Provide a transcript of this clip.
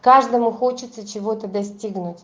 каждому хочется чего-то достигнуть